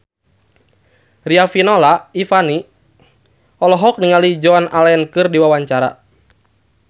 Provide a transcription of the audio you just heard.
Riafinola Ifani Sari olohok ningali Joan Allen keur diwawancara